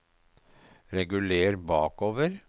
reguler bakover